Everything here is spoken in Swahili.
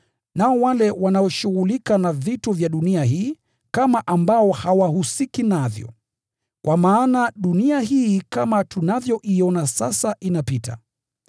nao wale wanaoshughulika na vitu vya dunia hii, kama ambao hawahusiki navyo. Kwa maana dunia hii kama tunavyoiona sasa inapita.